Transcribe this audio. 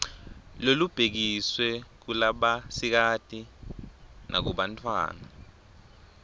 lolubhekiswe kulabasikati nakubantfwana